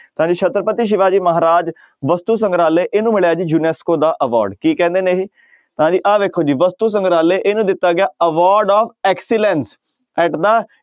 ਤਾਂ ਜੀ ਛਤਰਪਤੀ ਸਿਵਾ ਜੀ ਮਹਾਰਾਜ ਵਸਤੂ ਸੰਗਰਾਲਹ ਇਹਨੂੰ ਮਿਲਿਆ ਜੀ ਯੁਨੈਸਕੋ ਦਾ award ਕੀ ਕਹਿੰਦੇ ਨੇ ਇਹ, ਤਾਂ ਜੀ ਆਹ ਵੇਖੋ ਜੀ ਵਸਤੂ ਸੰਗਰਾਲਹ ਇਹਨੂੰ ਦਿੱਤਾ ਗਿਆ award of excellence at the